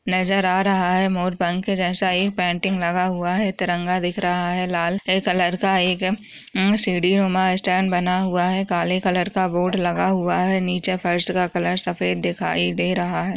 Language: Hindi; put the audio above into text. नजर आ रहा है मोरपंख जैसा एक पंटिंग लगा हुआ है तिरंगा दिख रहा है लाल से कलर का हम्म सी-डी उमा स्टैंड बना हुआ है काले कलर का बोर्ड लगा हुआ है नीचे फर्श का कलर सफ़ेद दिखाई दे रहा है।